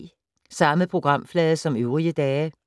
Samme programflade som øvrige dage